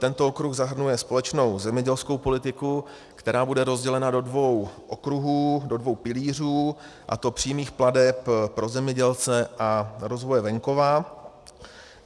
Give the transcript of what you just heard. Tento okruh zahrnuje společnou zemědělskou politiku, která bude rozdělena do dvou okruhů, do dvou pilířů, a to přímých plateb pro zemědělce a rozvoje venkova.